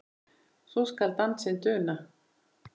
svo skal dansinn duna